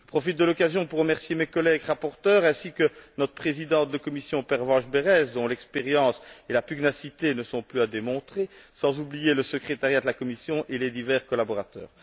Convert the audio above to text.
Je profite de l'occasion pour remercier mes collègues rapporteurs ainsi que notre présidente de commission, Pervenche Berès, dont l'expérience et la pugnacité ne sont plus à démontrer, sans oublier le secrétariat de la commission et les divers collaborateurs.